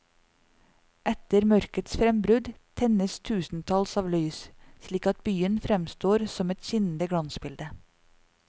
Etter mørkets frembrudd tennes tusentalls av lys, slik at byen fremstår som et skinnende glansbilde.